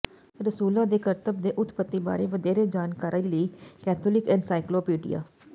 ਰਸੂਲਾਂ ਦੇ ਕਰਤੱਬ ਦੇ ਉਤਪੱਤੀ ਬਾਰੇ ਵਧੇਰੇ ਜਾਣਕਾਰੀ ਲਈ ਕੈਥੋਲਿਕ ਐਨਸਾਈਕਲੋਪੀਡੀਆ